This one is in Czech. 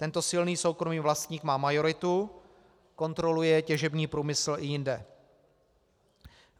Tento silný soukromý vlastník má majoritu, kontroluje těžební průmysl i jinde.